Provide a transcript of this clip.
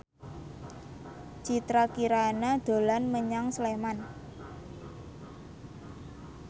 Citra Kirana dolan menyang Sleman